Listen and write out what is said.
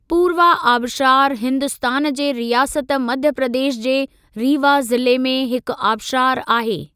पूर्वा आबशारु हिन्दुस्तान जे रियासत मध्य प्रदेश जे रीवा ज़िले में हिक आबशारु आहे।